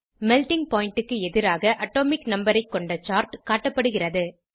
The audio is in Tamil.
மெல்ட்டிங் பாயிண்ட் க்கு எதிராக அட்டோமிக் நம்பர் ஐ கொண்ட சார்ட் காட்டப்படுகிறது